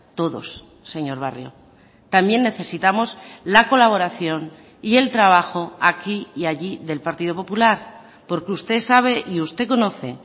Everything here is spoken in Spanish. todos señor barrio también necesitamos la colaboración y el trabajo aquí y allí del partido popular porque usted sabe y usted conoce